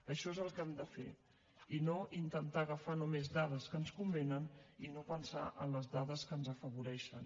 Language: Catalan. això és el que hem de fer i no intentar agafar només dades que ens convenen i no pensar en les dades que ens afavoreixen